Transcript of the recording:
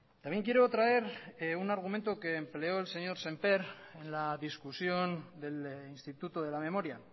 también quiero traer un argumento que empleó el señor sémper en la discusión del instituto de la memoria